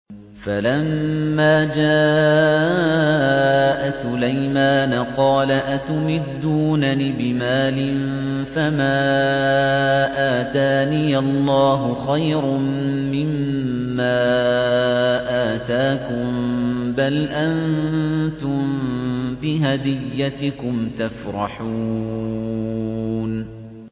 فَلَمَّا جَاءَ سُلَيْمَانَ قَالَ أَتُمِدُّونَنِ بِمَالٍ فَمَا آتَانِيَ اللَّهُ خَيْرٌ مِّمَّا آتَاكُم بَلْ أَنتُم بِهَدِيَّتِكُمْ تَفْرَحُونَ